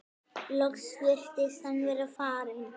Loks virtist hann vera farinn.